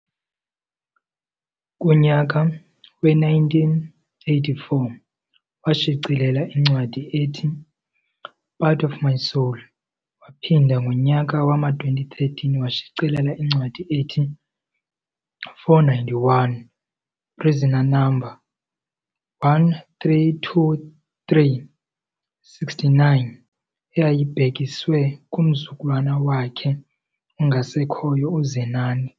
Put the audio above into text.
Kunyaka we-1984, washicelela incwadi ethi-Part Of My Soul waphinda ngonyaka wama-2013 washicelela incwadi ethi-491 - Prisoner Number 1323 - 69 eyayibhekiswe kumzukulwana wakhe ongasekhoyo uZenani.